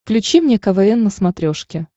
включи мне квн на смотрешке